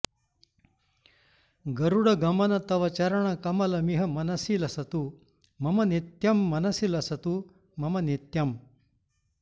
गरुडगमन तव चरणकमलमिह मनसि लसतु मम नित्यम् मनसि लसतु मम नित्यम्